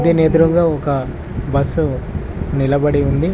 దీని ఎదురుగ ఒక బస్ నిలబడి ఉంది.